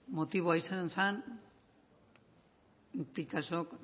motiboa izan zen picassok